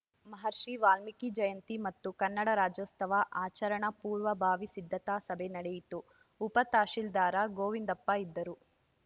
ಮಹರ್ಷಿ ವಾಲ್ಮೀಕಿ ಜಯಂತಿ ಮತ್ತು ಕನ್ನಡ ರಾಜ್ಯೋತ್ಸವ ಆಚರಣಾ ಪೂರ್ವ ಭಾವಿ ಸಿದ್ದತಾ ಸಭೆ ನಡೆಯಿತು ಉಪ ತಶೀಲ್ದಾರ್‌ ಗೋವಿಂದಪ್ಪ ಇದ್ದರು